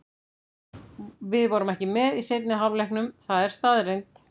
Við vorum ekki með í seinni hálfleiknum, það er staðreynd.